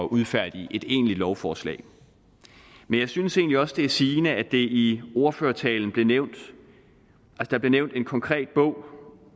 udfærdige et egentligt lovforslag men jeg synes egentlig også det er sigende at der i ordførertalen blev nævnt en konkret bog